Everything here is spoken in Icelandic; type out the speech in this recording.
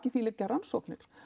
því liggja rannsóknir